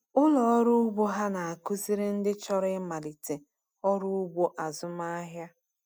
Ụlọ ọrụ ugbo ha na-akụziri ndị chọrọ ịmalite ọrụ ugbo azụmahịa.